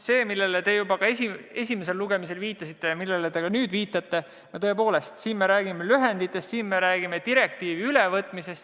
See, millele te juba esimesel lugemisel viitasite ja millele ka nüüd viitate – tõepoolest, siin me räägime lühenditest, siin me räägime direktiivi ülevõtmisest.